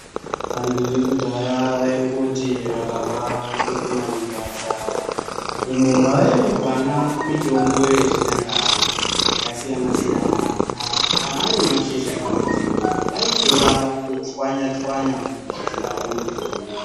Vantu vekudhaya vaingoti vakarwara votopinda mugwasha umu mavaiwana mitombo yechinyakare yakasiyana siyana. Kana arimashizha kana nzinde vaitora vochwanya kugadzirawo mutombo.